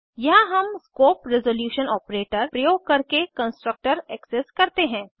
यहाँ हम scope resolution operator प्रयोग करके कन्सट्रक्टर एक्सेस करते हैं